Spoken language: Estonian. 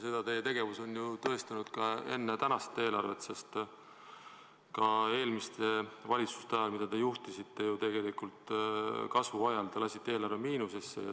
Seda on teie tegevus ju tõestanud ka enne tänast eelarvet, sest ka eelmiste valitsuste ajal, mida te juhtisite tegelikult kasvu ajal, te lasite eelarve miinusesse.